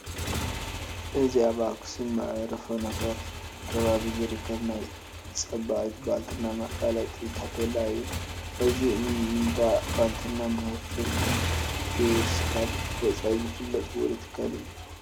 እዚ ኣብ ኣኽሱም መዕርፎ ነፈርቲ ከባቢ ዝርከብ ናይ ፀባቒት ባልትና መፋለጢ ታፔላ እዩ፡፡ እዚ እንዳ ባልትና ምህርቱ ክስካብ ወፃኢ ዝፍለጥ ውሩይ ትካል እዩ፡፡